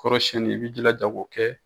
Kɔrɔsiyɛnni i b'i jilaja k'o kɛ